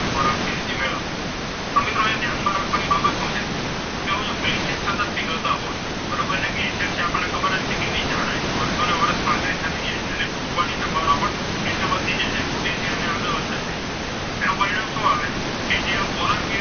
સતત પીગલતા હોય બરોબર અને ગ્લેસીયર છે એ આપણને ખબર જ છે કે એ એમની જાડાઈ વર્ષોને વર્ષો પાતળી જ થતી જાય છે અને તેમની તૂટવાની સંભાવના પણ વધી જાય છે તૂટે છે અને આગળ વધતા જાય છે તેનું પરિણામ શું આવે કે જે આ પોલર બિયર,